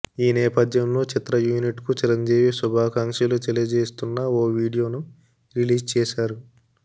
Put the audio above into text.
ఈ నేపథ్యంలో చిత్ర యూనిట్కు చిరంజీవి శుభాకాంక్షలు తెలియజేస్తున్న ఓ వీడియోను రిలీజ్ చేశారు